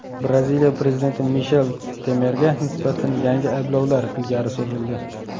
Braziliya prezidenti Mishel Temerga nisbatan yangi ayblovlar ilgari surildi.